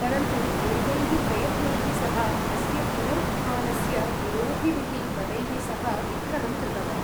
परन्तु, एतैः प्रयत्नैः सः अस्य पुनरुत्थानस्य विरोधिभिः बलैः सह विग्रहं कृतवान्।